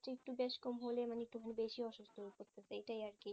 একটু বেশি কম হলে মানে একটু বেশি অসুস্থ হয়ে পড়ছে এইটাই আরকি